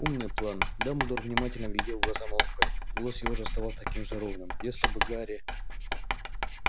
умный план дамблдор внимательно глядел в глаза малфою голос его же оставался таким же ровным если бы гарри